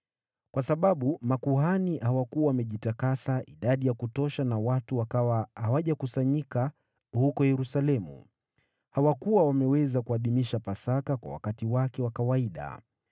Kwa sababu makuhani hawakuwa wamejitakasa idadi ya kutosha na watu wakawa hawajakusanyika huko Yerusalemu, hawakuwa wameweza kuadhimisha Pasaka kwa wakati wake wa kawaida.